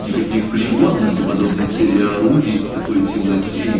никаких пригодных для подобной цели орудий по такой темноте и